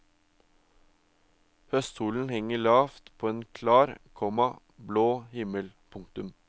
Høstsolen henger lavt på en klar, komma blå himmel. punktum